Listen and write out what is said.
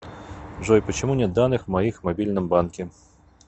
джой почему нет данных моих в мобильном банке